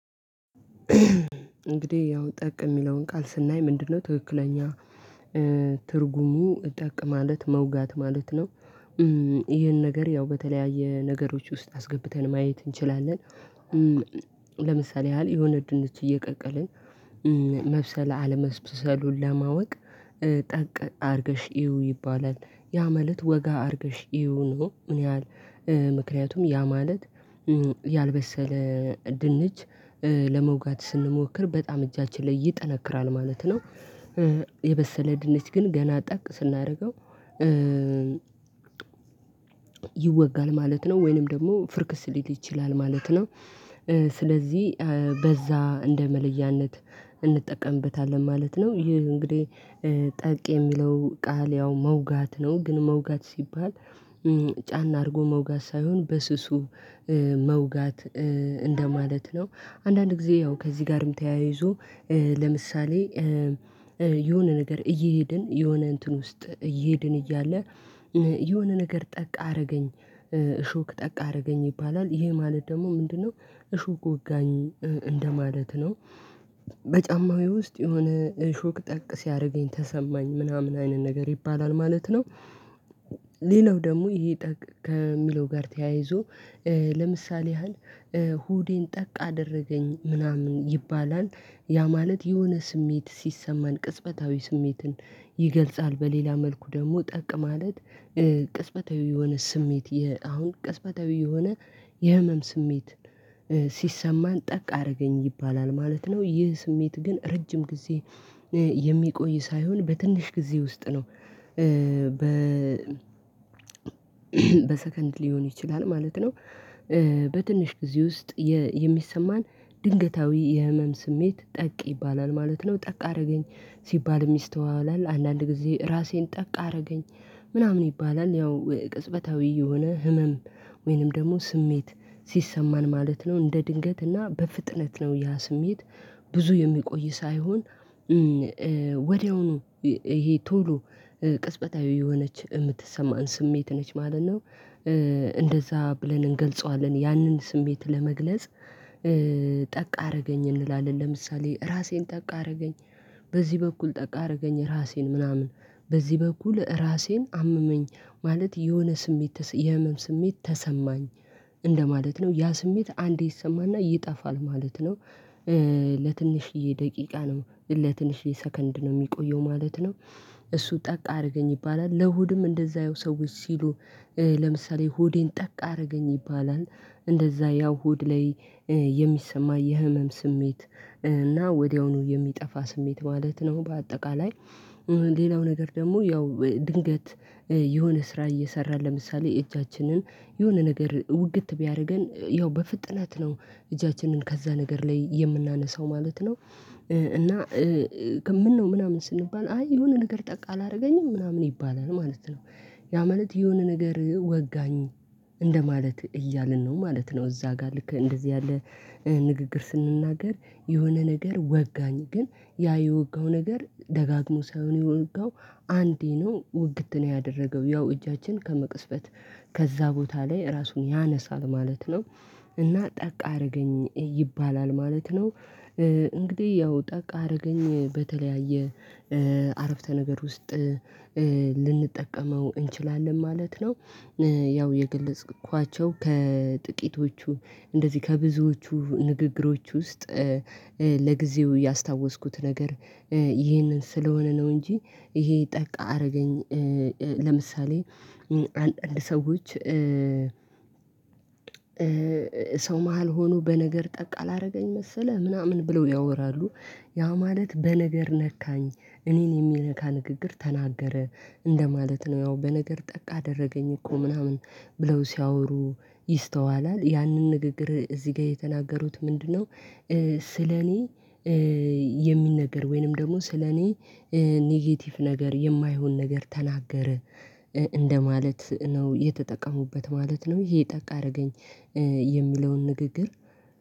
እንግዲህ ያው ጠቅ የሚለውን ቃል ስናይ ምንድነው? ትክክለኛ ትርጉሙ ጠቅ ማለት መውጋት ማለት ነው። ይሄን ነገር ያው በተለያየ ነገሮች ውስጥ አስገብተን ማየት እንችላለን። ለምሳሌ ያህል የሆነ ድንች እየቀቀልን መብሰላ አለመብሰሉን ለማወቅ ጠቅ አድርገሽ እይው ይባላል ያ ማለት ወጋ አድርገሽ እይው ነው ምን ያህል ምክንያቱም ያ ማለት ያልበሰለ ድንች ለመውጋት ስንሞክር በጣም እጃችን ላይ ይጠነክራል ማለት ነው። የበሰለ ድንች ግን ገና ጠቅ ስናደርገው ይወጋል ማለት ነው ወይንም ደግሞ ፍርክስ ሊል ይችላል ማለት ነው። ስለዚህ በዛ እንደ መለያነት እንጠቀምበታለን ማለት ነው። ይህ እንግዲህ ጠቅ የሚለው ቃል ያው መውጋት ነው ግን መውጋት ሲባል ጫን አድርጎ መውጋት ሳይሆን በስሱ መውጋት እንደማለት ነው። አንዳንድ ጊዜ ያው ከዚህ ጋርም ተያይዞ ለምሳሌ የሆነ ነገር እየሄድን የሆነ እንትን ውስጥ እየሄድን እያለ የሆነ ነገር ጠቅ አደረገኝ እሾክ ጠቅ አደረገኝ ይባላል ይሄ ማለት ደግሞ ምንድነው? እሾክ ወጋኝ እንደማለት ነው በጫማዬ ውስጥ የሆነ እሾክ ጠቅ ሲያደርገኝ ተሰማኝ ምናምን አይነት ነገር ይባላል ማለት ነው። ሌላው ደግሞ ይሄ ጠቅ ጋር ተያይዞ ለምሳሌ ያህል ሁዴን ጠቅ አደረገኝ ምናምን ይባላል ያ ማለት የሆነ ስሜት ሲሰማን ቅጽበታዊ ስሜትን ይገልጻል በሌላ መልኩ ደግሞ ጠቅ ማለት ቅጽበታዊ የሆነ ስሜት አሁን ቅጽበታዊ የሆነ የህመም ስሜት ሲሰማን ጠቅ አደረገኝ ይባላል ማለት ነው። ይህ ስሜት ግን ረጅም ጊዜ የሚቆይ ሳይሆን በትንሽ ጊዜ ውስጥ ነው በ በሰከንድ ሊሆን ይችላል ማለት ነው። በትንሽ ጊዜ ውስጥ የሚሰማን ድንገታዊ የህመም ስሜት ጠቅ ይባላል ማለት ነው ጠቅ አደረገኝ ሲባል የሚስተዋላል አንዳንድ ጊዜ ራሴን ጠቅ አደረገኝ ምናምን ይባላል ያው ቅጽበታዊ የሆነ ህመም ወይንም ደግሞ ስሜት ሲሰማን ማለት ነው። እንደ ድንገት እና በፍጥነት ነው ያ ስሜት ብዙ የሚቆይ ሳይሆን ወዲያውኑ ይሄ ቶሎ ቅጽበታዊ የሆነች የምትሰማን ስሜት ነች ማለት ነው። እንደዛ ብለን እንገልጸዋለን ያንን ስሜት ለመግለጽ ጠቅ አደረገኝ እንላለን ለምሳሌ ራሴን ጠቅ አደረገኝ በዚህ በኩል ጠቅ አደረገኝ ራሴን ምናምን በዚህ በኩል ራሴን አመመኝ ማለት የሆነ ስሜት የህመም ስሜት ተሰማኝ እንደማለት ነው ያ ስሜት አንዴ ይሰማና ይጠፋል ማለት ነው። ለትንሽዬ ደቂቃ ነው ለትንሽዬ ሰከንድ ነው የሚቆየው ማለት ነው እሱ ጠቅ አድርገኝ ይባላል ለሆድም እንደዛ የው ሰዎች ሲሉ ለምሳሌ ሆዴን ጠቅ አደረገኝ ይባላል እንደዛ ያው ሆድ ላይ የሚሰማ የህመም ስሜት እና ወዲያውኑ የሚጠፋ ስሜት ማለት ነው። በአጠቃላይ ሌላው ነገር ደግሞ ያው ድንገት የሆነ ስራ እየሰራ ለምሳሌ እጃችንን የሆነ ነገር ውግት ቢያደርገን ያው በፍጥነት ነው እጃችንን ከዛ ነገር ላይ የምናነሳው ማለት ነው እና ምነው ምናምን ስንባል አይ የሆነ ነገር ጠቅ አላደረገኝም ምናምን ይባላል ማለት ነው። ያ ማለት የሆነ ነገር ወጋኝ እንደማለት እያልን ነው ማለት ነው እዛ ጋር ልክ እንደዚህ ያለ ንግግር ስንናገር የሆነ ነገር ወጋኝ ግን ያ የወጋው ነገር ደጋግሞ ሳይሆን የወጋው አንዴ ነው ውግት ነው ያደረገው ያው እጃችን ከመቅስፈት ከዛ ቦታ ላይ ራሱን ያነሳል ማለት ነው እና ጠቅ አደረገኝ ይባላል ማለት ነው። እንግዲህ ያው ጠቅ አደረገኝ በተለያየ አረፍተ ነገር ውስጥ ልንጠቀመው እንችላለን ማለት ነው። ያው የገለጽኳቸው ከጥቂቶቹ እንደዚህ ከብዙዎቹ ንግግሮች ውስጥ ለጊዜው ያስታወስኩት ነገር ይሄንን ስለሆነ ነው እንጂ ይሄ ጠቅ አደረገኝ ለምሳሌ አንዳንድ ሰዎች ሰው መሃል ሆኖ በነገር ጠቅ አላደረገኝ መሰለ ምናምን ብለው ያወራሉ ያ ማለት በነገር ነካኝ እኔን የሚነካ ንግግር ተናገረ እንደማለት ነው ያው በነገር ጠቅ አደረገኝ እኮ ምናምን ብለው ሲያወሩ ይስተዋላል ያንን ንግግር እዚህ ጋር የተናገሩት ምንድነው? ስለኔ የሚነገር ወይንም ደግሞ ስለኔ ኔጌቲቭ ነገር የማይሆን ነገር ተናገረ እንደማለት ነው የተጠቀሙበት ማለት ነው። ይሄ ጠቅ አደረገኝ የሚለውን ንግግር